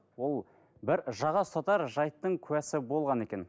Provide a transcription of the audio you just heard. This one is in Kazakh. ол бір жаға ұстартар жайттың куәсі болған екен